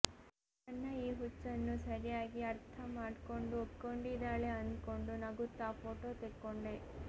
ನನ್ನ ಈ ಹುಚ್ಚನ್ನು ಸರಿಯಾಗಿ ಅರ್ಥ ಮಾಡ್ಕೊಂಡು ಒಪ್ಕೊಂಡಿದಾಳೆ ಅಂದ್ಕೊಂಡು ನಗುತ್ತಾ ಫೋಟೋ ತೆಕ್ಕೊಂಡೆ